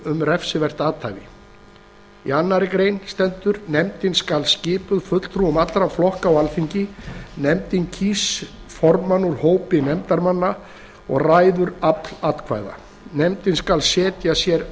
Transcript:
um refsivert athæfi annarrar greinar nefndin skal skipuð fulltrúum allra flokka á alþingi nefndin kýs formann úr hópi nefndarmanna og ræður afl atkvæða nefndin skal setja sér